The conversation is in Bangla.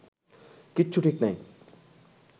কিচ্ছু ঠিক নেই